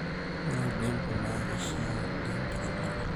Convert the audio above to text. ore olnjembe na keishaa oleng teramatare